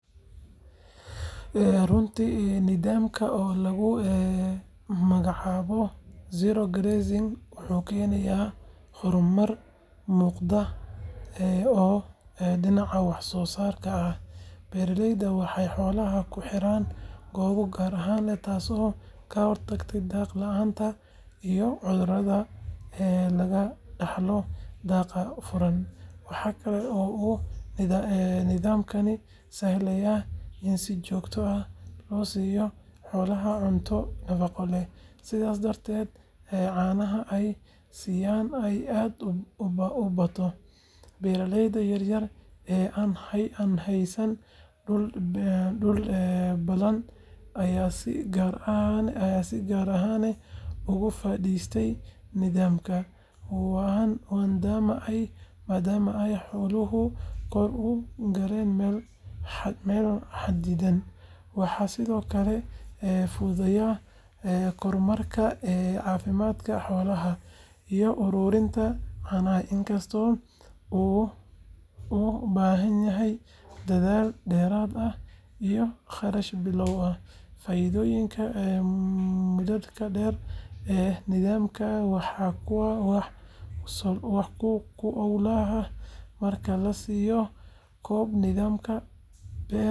Runtii, nidaamkan oo lagu magacaabo zero grazing wuxuu keenayaa horumar muuqda oo dhinaca wax-soo-saarka ah. Beeralaydu waxay xoolaha ku xiraan goobo gaar ah, taasoo ka hortagaysa daaq la’aanta iyo cudurrada laga dhaxlo daaqa furan. Waxa kale oo uu nidaamkani sahlayaa in si joogto ah loo siiyo xoolaha cunto nafaqo leh, sidaas darteedna caanaha ay siisaa ay aad u bato. Beeraleyda yaryar ee aan haysan dhul ballaaran ayaa si gaar ah uga faa’iideysta nidaamkan, maadaama ay xoolahooda ku kori karaan meel xadidan. Waxaa sidoo kale fududaanaya kormeerka caafimaadka xoolaha iyo ururinta caanaha. Inkastoo uu u baahanyahay dadaal dheeraad ah iyo kharash bilow ah, faa’iidooyinka muddada-dheer ee nidaamkani waa kuwo wax ku ool ah. Marka la soo koobo, nidaamka eber-daaqsimeedku waa hab casri ah oo u suurto-gelinaya beeralayda caanaha ee Kenya inay helaan wax-soo-saar joogto ah, dakhli wanaagsan iyo ilaalin deegaanka ah.